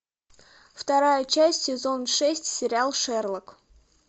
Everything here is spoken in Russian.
вторая часть сезон шесть сериал шерлок